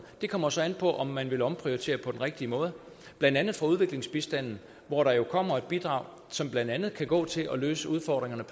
det kommer så an på om man vil omprioritere på den rigtige måde blandt andet fra udviklingsbistanden hvor der jo kommer et bidrag som blandt andet kan gå til at løse udfordringerne